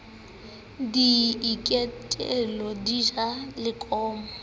di iketlile di ja lekomo